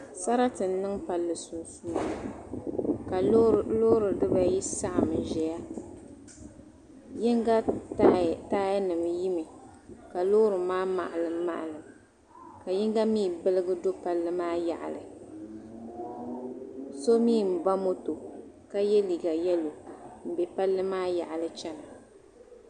Sarati n niŋ palli sunsuuni ka Loori dibayi saɣam n ʒɛya yinga taaya nim yimi ka loori maa maɣalim maɣalim ka yinga mii biligi do palli maa yaɣali so mii n ba moto ka yɛ liiga yɛlo n bɛ palli maa yaɣali chɛna